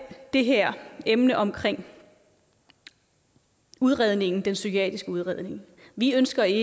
det her emne omkring udredningen den psykiatriske udredning vi ønsker i